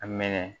A mɛnɛ